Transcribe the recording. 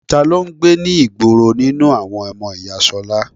Ta ló ń gbé ní ìgboro nínú àwọn ọmọ ìyá ṣolá?